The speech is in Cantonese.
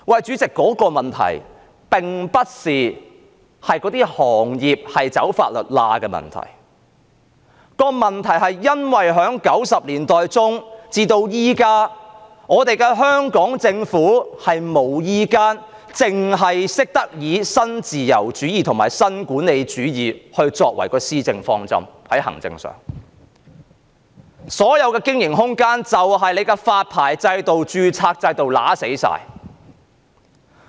主席，這個問題不是行業"走法律罅"的問題，而是因為1990年代中到現在，香港政府只懂以新自由主義和新管理主義作為施政方針，所有經營空間都被發牌制度和註冊制度扼殺。